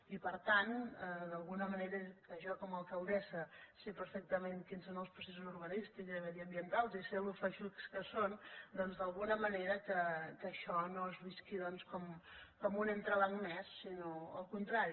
i per tant que d’alguna manera jo com a alcaldessa sé perfectament quins són els processos urbanístics i mediambientals i sé com en són de feixucs doncs d’alguna manera que això no es visqui com un entrebanc més sinó al contrari